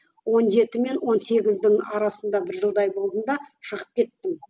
он жеті мен он сегіздің арасында бір жылдай болдым да шығып кеттім